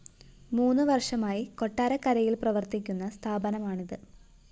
മൂന്ന് വര്‍ഷമായി കൊട്ടാരക്കരയില്‍ പ്രവര്‍ത്തിക്കുന്ന സ്ഥാപനമാണിത്